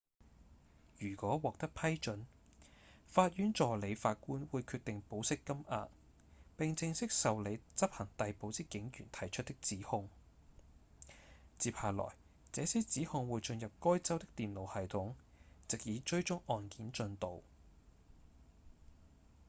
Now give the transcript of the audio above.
如果獲得批准法院助理法官會決定保釋金額並正式受理執行逮捕之警員提出的指控接下來這些指控會進入該州的電腦系統藉以追蹤案件進度